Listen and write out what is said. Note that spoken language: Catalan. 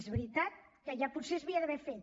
és veritat que ja potser s’hauria d’haver fet